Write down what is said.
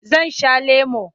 Zan sha lemo.